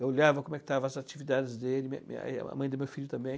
Eu olhava como estavam as atividades dele, né, a mãe do meu filho também.